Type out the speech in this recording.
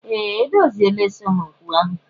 Ee, edoziela esemokwu ahụ